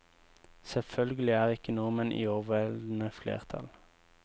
Selvfølgelig er ikke nordmenn i overveldende flertall.